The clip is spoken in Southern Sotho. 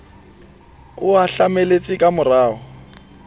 a o tlameletse ka morao